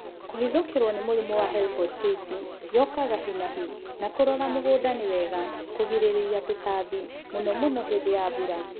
Kũhithũkĩrwo nĩ mũrĩmũ wa Helopeltisi yokaga hinahi na kũrora mũgũnda ni wega kũgirĩrĩria tũtambi mũno mũno hĩndĩ ya mbura